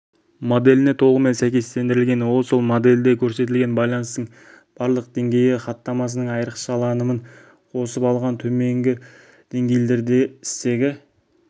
моделіне толығымен сәйкестендірілген ол сол модельде көрсетілген байланыстың барлық деңгейі хаттамасының айрықшаланымын қосып алған төменгі деңгейлерде стегі